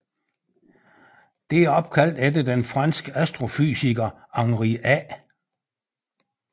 Det er opkaldt efter den franske astrofysiker Henri A